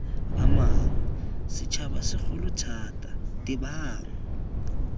amang setšhaba segolo thata tebang